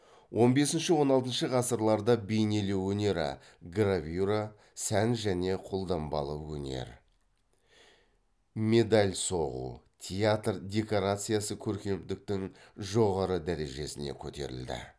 он бесінші он алтыншы ғасырларда бейнелеу өнері гравюра сән және қолданбалы өнер медаль соғу театр декорациясы көркемдіктің жоғары дәрежесіне көтерілді